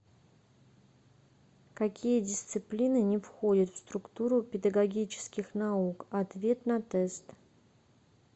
какие дисциплины не входят в структуру педагогических наук ответ на тест